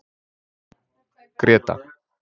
Gréta